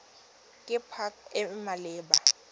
ke pac e e maleba